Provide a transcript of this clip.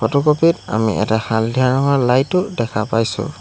Photocopy ত আমি এটা হালধীয়া ৰঙৰ লাইটো দেখা পাইছোঁ।